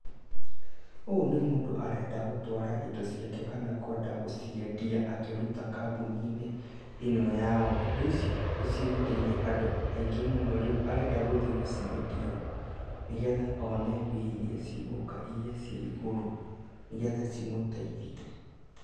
Ũyũ nĩ mũndũ arenda gũtwara indo ciake kana kwenda gũciendia akĩruta kambũni-inĩ ĩyo yao, indo ici nĩ cigũteithia andũ aingĩ mũno , rĩu arenda gũthiĩ gũciendia, nĩgetha one mbica iria cigũka iria cia igũrũ, nĩgetha cimũteithie.